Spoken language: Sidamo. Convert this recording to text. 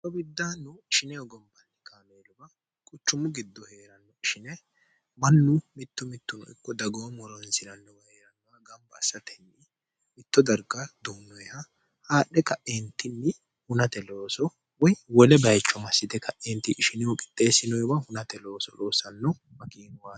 hoo biddaanno shine ogombanni kaameeluba quchummu giddo hee'ranno ishine mannu mittu mittuno ikku dagoo molonsilannowa hee'rannowa gamba assatenni mitto darga doonnoeha haadhe ka'eentinni hunate looso woy wole bayicho massite ka'eenti ishinehu qixxeessinoewa hunate looso loosanno makiinuwaro